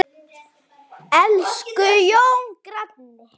Elsku Jón granni.